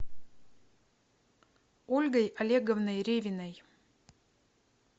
ольгой олеговной ревиной